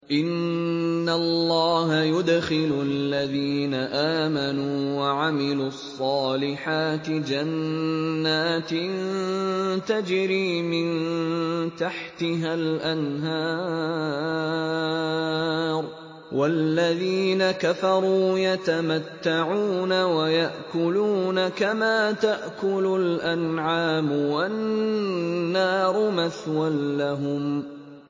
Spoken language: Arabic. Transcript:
إِنَّ اللَّهَ يُدْخِلُ الَّذِينَ آمَنُوا وَعَمِلُوا الصَّالِحَاتِ جَنَّاتٍ تَجْرِي مِن تَحْتِهَا الْأَنْهَارُ ۖ وَالَّذِينَ كَفَرُوا يَتَمَتَّعُونَ وَيَأْكُلُونَ كَمَا تَأْكُلُ الْأَنْعَامُ وَالنَّارُ مَثْوًى لَّهُمْ